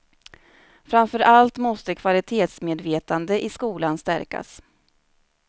Framför allt måste kvalitetsmedvetande i skolan stärkas.